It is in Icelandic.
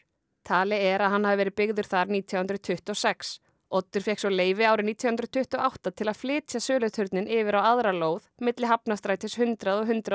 talið er að hann hafi verið byggður þar nítján hundruð tuttugu og sex Oddur fékk svo leyfi árið nítján hundruð tuttugu og átta til að flytja söluturninn yfir á aðra lóð milli Hafnarstrætis hundrað og hundrað